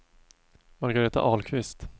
Margareta Ahlqvist